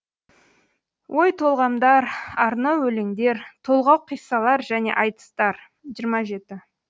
ой толғамдар арнау өлеңдер толғау қиссалар және айтыстар жиырма жеті